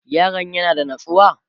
yaron ya na da natsuwa?